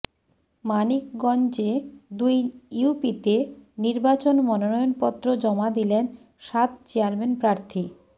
মানিকগঞ্জে দুই ইউপিতে নির্বাচন মনোনয়নপত্র জমা দিলেন সাত চেয়ারম্যান প্রার্থী